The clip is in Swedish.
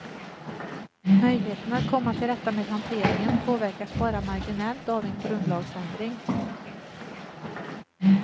Möjligheterna att komma till rätta med hanteringen påverkas bara marginellt av en grundlagsändring.